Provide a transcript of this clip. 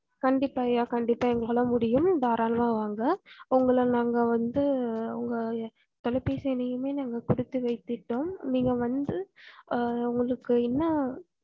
கண்டிப்பா ஐயா கண்டிப்பா எங்களால முடியும் தாராளமா வாங்க உங்கள நாங்க வந்து உங்க தொலைபேசி எண்ணையுமே நாங்க புடித்து வைத்துட்டோம் நீங்க வந்து ஹா உங்களக்கு என்ன